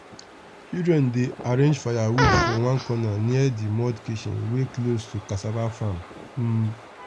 children dey arrange firewood for one corner near the mud kitchen wey close to cassava farm. um